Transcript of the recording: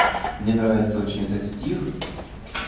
мне нравится очень этот стих